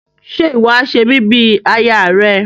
Ṣe iwọ a ṣe mi bí aya rẹ?